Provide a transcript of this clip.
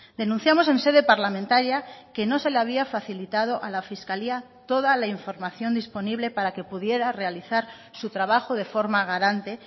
denunciamos en sede parlamentaria que no se le había facilitado a la fiscalía toda la información disponible para que pudiera realizar su trabajo de forma garante